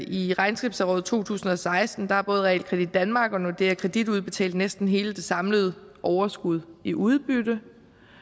i regnskabsåret to tusind og seksten har både realkredit danmark og nordea kredit udbetalt næsten hele det samlede overskud i udbytte